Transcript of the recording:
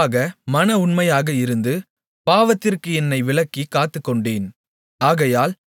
அவருக்கு முன்பாக மன உண்மையாக இருந்து பாவத்திற்கு என்னை விலக்கிக் காத்துக்கொண்டேன்